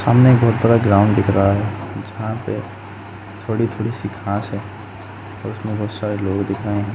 सामने एक बहोत बड़ा ग्राउन्ड दिख रहा है। जहाँ पे थोड़ी - थोड़ी सी घास है और उसमें बोहोत सारे लोग दिख रहे हैं।